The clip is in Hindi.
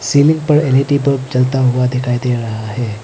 सीलिंग पर एल_ई_डी बल्ब जलता हुआ दिखाई दे रहा है।